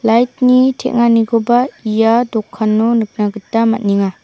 teng·anikoba ia dokano nikna gita man·enga.